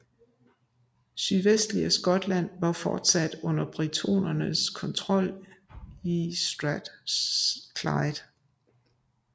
Sydvestlige Skotland var fortsat under britonernes kontrol i Strathclyde